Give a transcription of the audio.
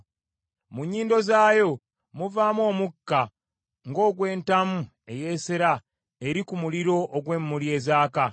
Mu nnyindo zaayo muvaamu omukka ng’ogwentamu eyeesera eri ku muliro ogw’emmuli ezaaka.